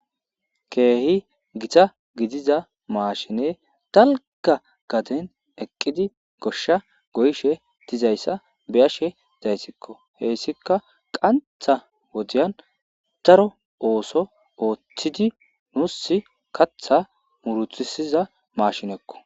keehi gita gidiza maashine talga gaden eqqidi goshsha goyshe tizayssa beashe dayssikko heessika qantha wodiyan daro ooso ooththidi nuus katha murutisiza mashinekko